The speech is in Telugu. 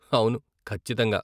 అవును, ఖచ్చితంగా !